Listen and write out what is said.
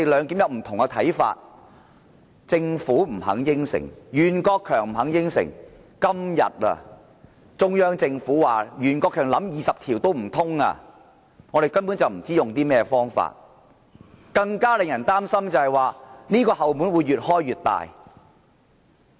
今天中央政府更表示，袁國強建議引用《基本法》第二十條也不可行，我們根本不知道可以用甚麼方法，而更令人擔心的是，這道"後門"會越開越大。